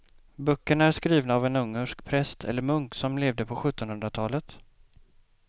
Böckerna är skrivna av en ungersk präst eller munk som levde på sjuttonhundratalet.